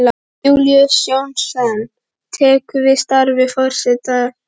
Júlíus Jónsson tekur við starfi forstjóra